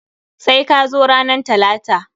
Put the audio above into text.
Sai ka zo ranan talata!